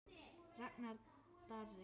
Ragnar Darri.